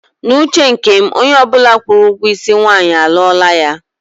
N'uche nke m, onye ọbụla kwụrụ ụgwọ isi nwaanyị, a lụọla ya.